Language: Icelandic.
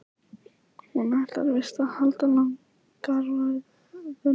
Hún ætlar víst að halda langa ræðu núna.